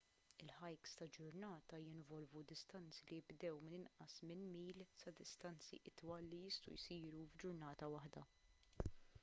il-hikes ta' ġurnata jinvolvu distanzi li jibdew minn inqas minn mil sa distanzi itwal li jistgħu jsiru f'ġurnata waħda